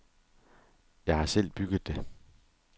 Jeg har selv bygget det.